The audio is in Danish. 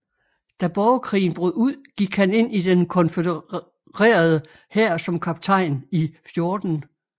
Da borgerkrigen brød ud gik han ind i den konfødererede hær som kaptajn i 14